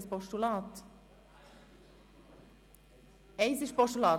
Das Wort haben die Fraktionen.